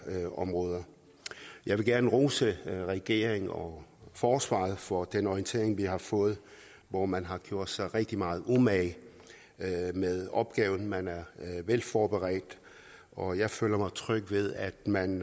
områder jeg vil gerne rose regeringen og forsvaret for den orientering vi har fået hvor man har gjort sig rigtig meget umage med opgaven man er velforberedt og jeg føler mig tryg ved at man